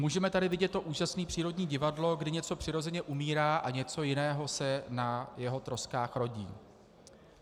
Můžeme tady vidět to úžasné přírodní divadlo, kdy něco přirozeně umírá a něco jiného se na jeho troskách rodí.